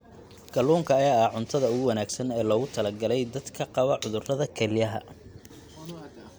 Kalluunka ayaa ah cuntada ugu wanaagsan ee loogu talagalay dadka qaba cudurrada kelyaha.